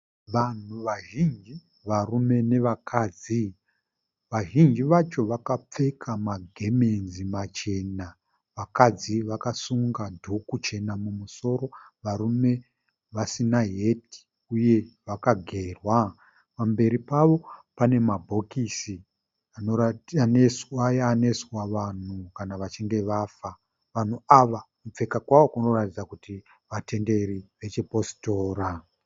Vanhu vazhinji, varume navakadzi. Vazhinji vacho vakapfeka magemenzi machena. Vakadzi vakasunga dhuku chena mumusoro, varume vasina heti uye vakagerwa. Pamberi pavo pane mabhokisi aya anoiswa vanhu kana vachinge vafa. Vanhu ava kupfeka kwavo kunoratidza kuti vatenderi vechipositora.